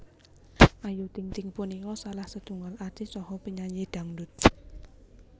Ayu Ting Ting punika salah setunggaling artis saha penyanyi dhangdhut